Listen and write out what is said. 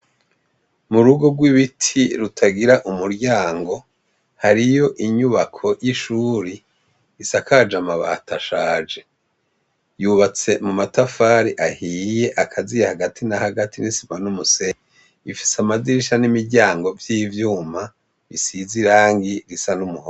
Mu rugo rw'ibiti rutagira umuryango hariyo inyubako y'ishuri isakaje amabata ashaje yubatse mu matafari ahiye akaziya hagati na hagati n'isima n'umuseye ifise amazirisha n'imiryango vy'ivyuma bisize i rangi risa n'umwe.